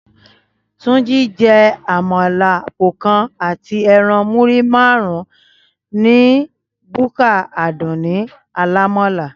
Túnjí jẹ àmàlà àpò kan àti ẹran múrí márùn-ún ní búkà Àdùnní alámàlà